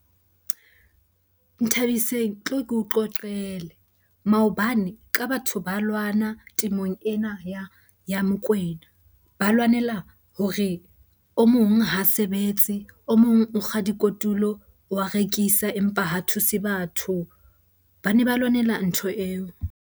Nthabiseng, tlo ke o qoqele. Maobane ka batho ba lwana remong ena ya Mokwena. Ba lwanela hore o mong ha sebetse, o mong o kga di kotulo wa rekisa empa ha thuse batho. Bane ba lwanela ntho eo.